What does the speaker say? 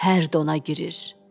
Hər dona girir.